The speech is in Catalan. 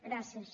gràcies